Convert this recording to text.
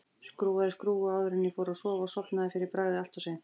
Skrúfaði skrúfu áður en ég fór að sofa og sofnaði fyrir bragðið allt of seint.